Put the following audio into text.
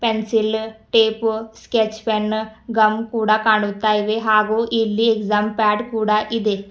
Pencil tape sketch pen gum ಕೂಡ ಕಾಣುತ್ತ ಇವೆ ಹಾಗು ಇಲ್ಲಿ ಎಕ್ಸಾಂ ಪ್ಯಾಡ್ ಕೂಡ ಇದೆ.